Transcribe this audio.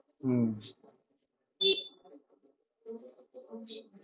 হম